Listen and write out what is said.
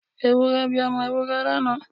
Ewúrẹ́ bí ọmọ Ewúrẹ́ lánàá.